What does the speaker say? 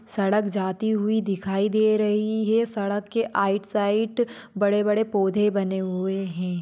सड़क जाती हुई दिखाई दे रही हैसड़क के आएट साइट बड़े - बड़े पौधे बने हुए है।